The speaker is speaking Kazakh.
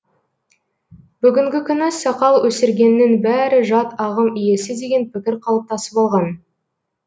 бүгінгі күні сақал өсіргеннің бәрі жат ағым иесі деген пікір қалыптасып алған